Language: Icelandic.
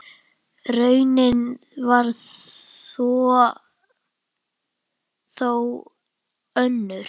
Raunin varð þó önnur.